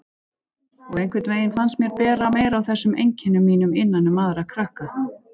Og einhvern veginn fannst mér bera meira á þessum einkennum mínum innan um aðra krakka.